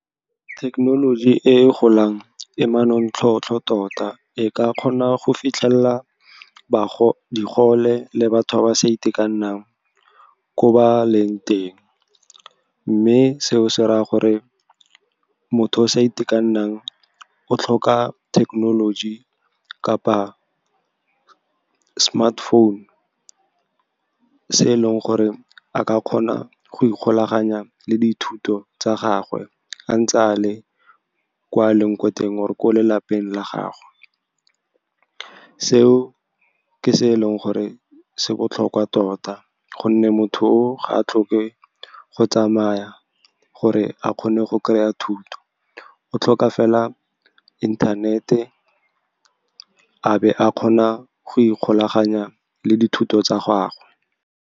Thekenoloji e e golang e manontlhotlho tota, e ka kgona go fitlhelela digole le batho ba ba sa itekanelang ko ba leng teng. Mme seo se raya gore motho o sa itekanelang o tlhoka thekenoloji kapa smartphone, se e leng gore a ka kgona go ikgolaganya le dithuto tsa gagwe a ntse a le kwa le ko a leng ko teng or-e lelapeng la gagwe. Seo ke se eleng gore se botlhokwa tota, gonne motho o o ga a tlhoke go tsamaya gore a kgone go kry-a thuto, o tlhoka fela inthanete, a be a kgona go ikgolaganya le dithuto tsa gagwe.